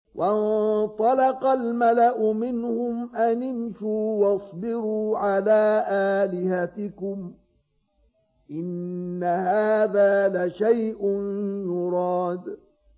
وَانطَلَقَ الْمَلَأُ مِنْهُمْ أَنِ امْشُوا وَاصْبِرُوا عَلَىٰ آلِهَتِكُمْ ۖ إِنَّ هَٰذَا لَشَيْءٌ يُرَادُ